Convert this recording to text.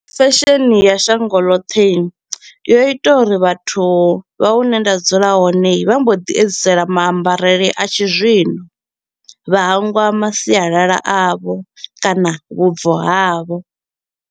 Fesheni ya shango ḽoṱhe i yo ita uri vhathu vha hune nda dzula hone vha mbo ḓi edzisela maambarele a tshi zwino, vha hangwa masialala avho kana vhubvo havho.